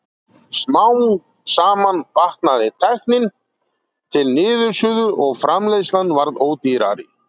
Smám saman batnaði tæknin til niðursuðu og framleiðslan varð ódýrari.